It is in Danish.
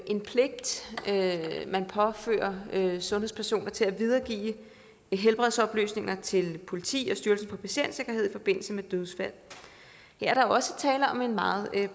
en pligt man påfører sundhedspersoner til at videregive helbredsoplysninger til politiet og styrelsen for patientsikkerhed i forbindelse med dødsfald her er der også tale om en meget